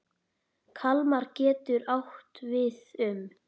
Kalmar getur átt við um